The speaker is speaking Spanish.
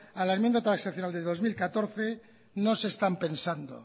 a la enmienda transaccional de dos mil catorce no se están pensando